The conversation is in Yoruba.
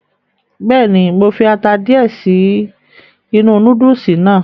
Bẹ́ẹ̀ni, mo fi ata díẹ̀ sí inú núdùùsì náà.